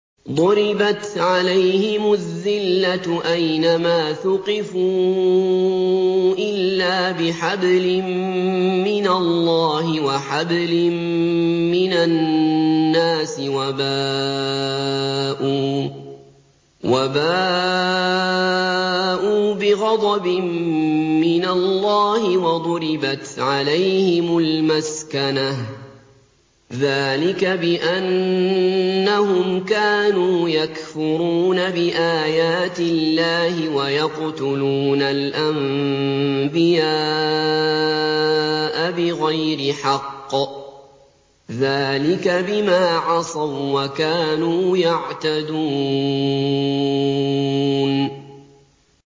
ضُرِبَتْ عَلَيْهِمُ الذِّلَّةُ أَيْنَ مَا ثُقِفُوا إِلَّا بِحَبْلٍ مِّنَ اللَّهِ وَحَبْلٍ مِّنَ النَّاسِ وَبَاءُوا بِغَضَبٍ مِّنَ اللَّهِ وَضُرِبَتْ عَلَيْهِمُ الْمَسْكَنَةُ ۚ ذَٰلِكَ بِأَنَّهُمْ كَانُوا يَكْفُرُونَ بِآيَاتِ اللَّهِ وَيَقْتُلُونَ الْأَنبِيَاءَ بِغَيْرِ حَقٍّ ۚ ذَٰلِكَ بِمَا عَصَوا وَّكَانُوا يَعْتَدُونَ